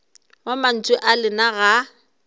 wa mantšu a lena ga